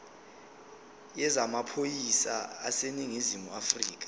yezamaphoyisa aseningizimu afrika